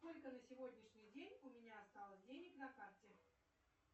сколько на сегодняшний день у меня осталось денег на карте